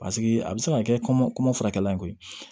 Paseke a bɛ se ka kɛ kɔmɔ furakɛli in koyi